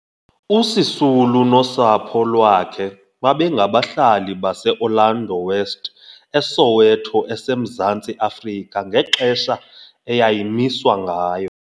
USisulu nosapho lwakhe babengabahlali baseOrlando West, eSoweto eseMzantsi Afrika ngexesha eyayimiswa ngayo.